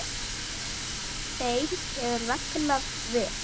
Þeim hefur vegnað vel.